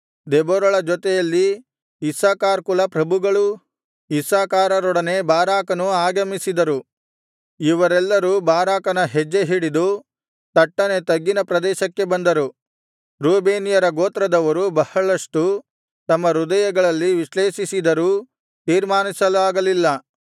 ದೆಬೋರಳ ಜೊತೆಯಲ್ಲಿ ಇಸ್ಸಾಕಾರ್ ಕುಲಪ್ರಭುಗಳೂ ಇಸ್ಸಾಕಾರರೊಡನೆ ಬಾರಾಕನೂ ಆಗಮಿಸಿದರು ಇವರೆಲ್ಲರೂ ಬಾರಾಕನ ಹೆಜ್ಜೆಹಿಡಿದು ತಟ್ಟನೆ ತಗ್ಗಿನ ಪ್ರದೇಶಕ್ಕೆ ಬಂದರು ರೂಬೇನ್ಯರ ಗೋತ್ರದವರು ಬಹಳಷ್ಟು ತಮ್ಮ ಹೃದಯಗಳಲ್ಲಿ ವಿಶ್ಲೇಷಿಸಿದರೂ ತೀರ್ಮಾನಿಸಲಾಗಲ್ಲಿಲ್ಲ